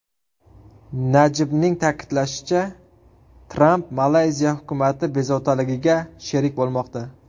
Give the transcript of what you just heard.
Najibning ta’kidlashicha, Tramp Malayziya hukumati bezovtaligiga sherik bo‘lmoqda.